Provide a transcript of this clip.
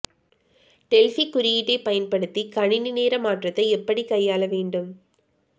Delphi குறியீட்டைப் பயன்படுத்தி கணினி நேர மாற்றத்தை எப்படி கையாள வேண்டும்